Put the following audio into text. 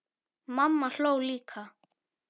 Mamma hló líka.